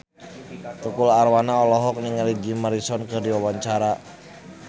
Tukul Arwana olohok ningali Jim Morrison keur diwawancara